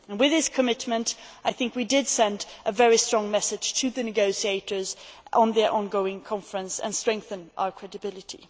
With this commitment I think we did send a very strong message to the negotiators at their ongoing conference and strengthened our credibility.